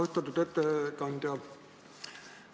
Austatud ettekandja!